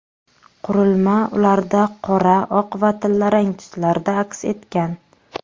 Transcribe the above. Qurilma ularda qora, oq va tillarang tuslarda aks etgan.